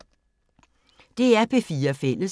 DR P4 Fælles